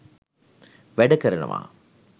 වැඩ කරනවා